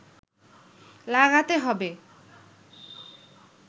লাগাতে হবে